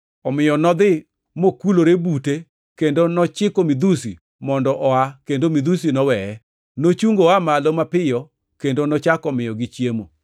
Omiyo nodhi mokulore bute kendo nochiko midhusi mondo oa kendo midhusi noweye. Nochungo oa malo mapiyo kendo nochako miyogi chiemo.